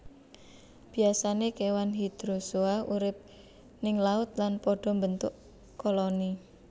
Biasané kewan Hydrozoa urip ning laut lan pada mbentuk koloni